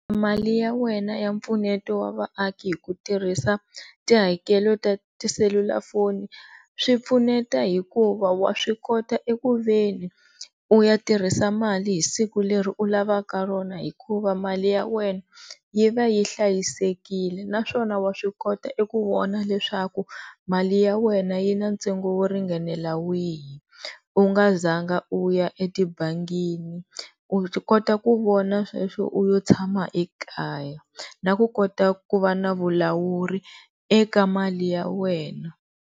Mali ya wena ya mpfuneto wa vaaki hi ku tirhisa tihakelo ta tiselulafoni swi pfuneta hikuva wa swi kota e kuveni u ya tirhisa mali hi siku leri u lavaka rona hikuva mali ya wena yi va yi hlayisekile naswona wa swi kota eku vona leswaku mali ya wena yi na ntsengo wo ringanela wihi u nga zanga u ya etibangini, u kota ku vona sweswo u yo tshama ekaya na ku kota ku va na vulawuri eka mali ya wena.